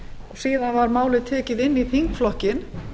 síðan var málið tekið inn í þingflokkinn